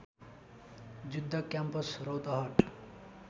Juddha campus Rautahat